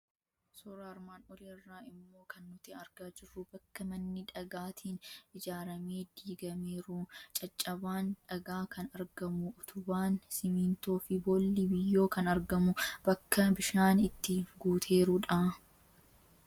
Suuraa armaan olii irraa immoo kan nuti argaa jirru bakka manni dhagaatiin ijaaramee diigameeru, caccabaan dhagaa kan argamu, utubaan simmintoo fi boolli biyyoo kan argamu, bakka bishaan itti guuteeru dha.